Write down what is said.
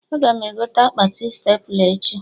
Aga m egote akpati stepla echi